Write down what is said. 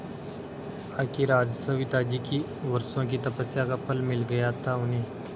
आखिर आज सविताजी की वर्षों की तपस्या का फल मिल गया था उन्हें